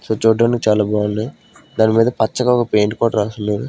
so చూడ్డనికి చాలా బాగున్నాయి దాని మీద పచ్చగా ఒక పెయింట్ కూడా రాసున్నా--